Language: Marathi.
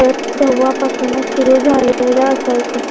तेव्हा पाहूनच सुरू झालेल असायच.